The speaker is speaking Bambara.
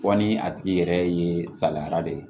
Fɔ ni a tigi yɛrɛ ye salayara de ye